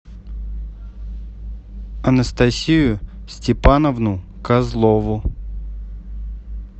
анастасию степановну козлову